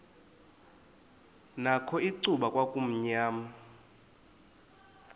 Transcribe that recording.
nakho icuba kwakumnyama